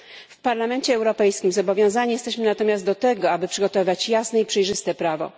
W Parlamencie Europejskim zobowiązani jesteśmy natomiast do tego, aby przygotowywać jasne i przejrzyste prawo.